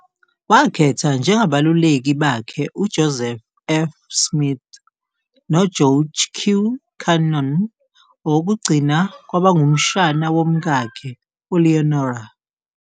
Wakhetha njengabaluleki bakhe uJoseph F. Smith noGeorge Q. Cannon, owokugcina kwaba ngumshana womkakhe, uLeonora.